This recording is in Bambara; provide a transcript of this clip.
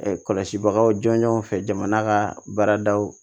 kɔlɔsibagaw jɔnjɔnw fɛ jamana ka baaradaw